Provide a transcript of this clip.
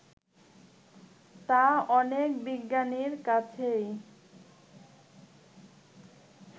তা অনেক বিজ্ঞানীর কাছেই